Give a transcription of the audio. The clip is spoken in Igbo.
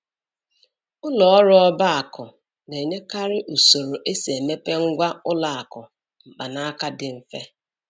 Ụlọ ọrụ ọba aku na-enyekarị usoro esi emepe ngwá ụlọ akụ mkpanaka dị mfe